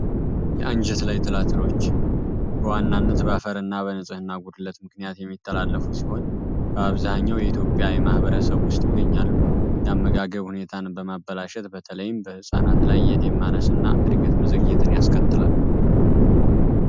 የአንጀት ላይ ታላትሎች በዋናነት በአፈርና በንጽህና ጉድለት ምክንያት የሚተላለፉ ሲሆን በአብዛኛው የኢትዮጵያ የማህበረሰብ ውስጥ ይገኛሉ። የአመጋገብ ሁኔታን በማበላሸት በተለይም በህጻናት ላይ የደመ እድገት መዘግየትን ያስከትላል።